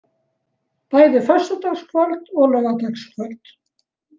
Bæði föstudagskvöld og laugardagskvöld.